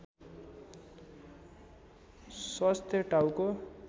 स्वस्थ टाउको